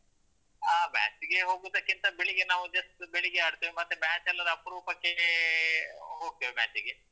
ಆ, match ಗೆ ಹೋಗುದಕ್ಕಿಂತ ಬೆಳಿಗ್ಗೆ ನಾವು just ಬೆಳಿಗ್ಗೆ ಆಡ್ತೇವೆ ಮತ್ತೆ match ಅಲ್ಲೆಲ್ಲ ಅಪ್ರೂಪಕ್ಕೇ ಹೋಗ್ತೇವ್ match ಗೆ